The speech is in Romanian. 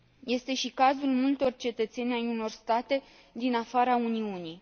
Este și cazul multor cetățeni ai unor state din afara Uniunii.